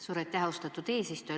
Suur aitäh, austatud eesistuja!